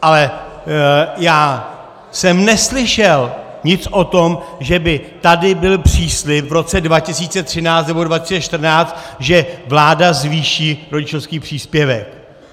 Ale já jsem neslyšel nic o tom, že by tady byl příslib v roce 2013 nebo 2014, že vláda zvýší rodičovský příspěvek.